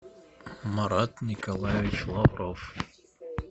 марат николаевич лавров